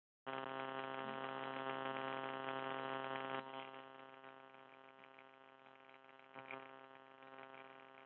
Nú var aðeins að bíða þess að prjónninn gengi í gegn svo göngukonan gæti kvatt.